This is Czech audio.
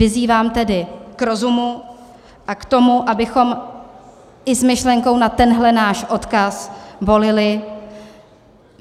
Vyzývám tedy k rozumu a k tomu, abychom i s myšlenkou na tenhle náš odkaz volili.